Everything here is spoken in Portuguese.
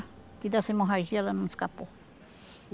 E dessa hemorragia ela não escapou.